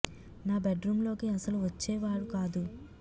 నా bedroom లోకి అస్సలు వచ్చే వాడు కాదు